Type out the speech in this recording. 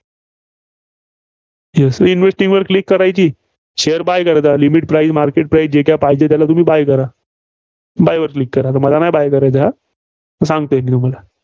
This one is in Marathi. investing वर click करायची share buy करायचा. limit price market price जे काय पाहिजे, त्याल तुम्ही buy करा. buy वर Click करा. आता मला नाही buy करायचा हा. सांगतोय मी तुम्हाला.